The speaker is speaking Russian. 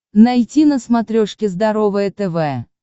найти на смотрешке здоровое тв